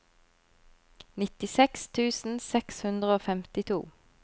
nittiseks tusen seks hundre og femtito